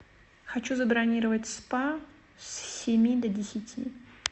хочу забронировать спа с семи до десяти